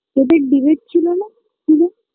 তোদের debate ছিলনা